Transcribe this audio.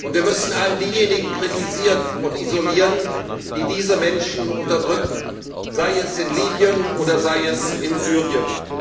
Und wir müssen all diejenigen kritisieren und isolieren, die diese Menschen unterdrücken, sei es in Libyen oder in Syrien.